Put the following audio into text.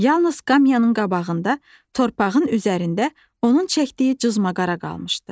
Yalnız qapısının qabağında torpağın üzərində onun çəkdiyi cızmaqara qalmışdı.